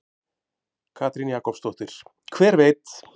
Katrín Jakobsdóttir: Hver veit?